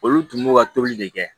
Olu tun b'u ka tobili de kɛ